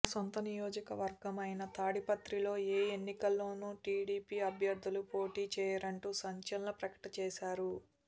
తన సొంత నియోజకవర్గం అయిన తాడిపత్రిలో ఏ ఎన్నికలోనూ టీడీపీ అభ్యర్ధులు పోటీ చేయరంటూ సంచలన ప్రకటన చేశారు